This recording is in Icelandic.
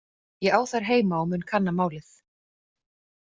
Ég á þær heima og mun kanna málið.